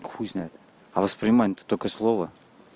х знает а воспринимает только слова